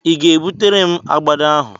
I ga-ebutere m agbada ahụ?